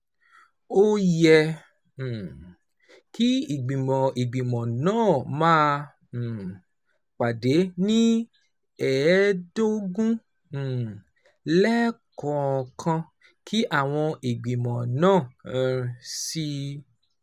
Ó yẹ um kí ìgbìmọ̀ ìgbìmọ̀ náà máa um pàdé ní ẹ̀ẹ̀ẹ́dógún um lẹ́ẹ̀kọ̀ọ̀kan, kí àwọn ìgbìmọ̀ náà sì